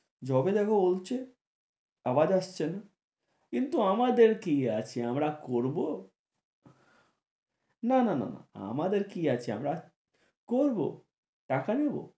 বলছে আওয়াজ আসছে না কিন্তু আমাদের কি আছে আমরা করবো, না না না আমাদের কি আছে, আমরা করবো, টাকা নেবো।